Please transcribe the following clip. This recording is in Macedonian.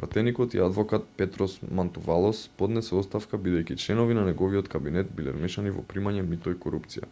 пратеникот и адвокат петрос мантувалос поднесе оставка бидејќи членови на неговиот кабинет биле вмешани во примање мито и корупција